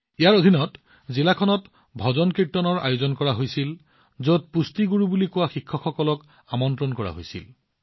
ইয়াৰ অধীনত জিলাখনত ভজনকীৰ্তনৰ আয়োজন কৰা হৈছিল যত নিউট্ৰিচন গুৰু নামৰ শিক্ষকসকলক মাতি অনা হৈছিল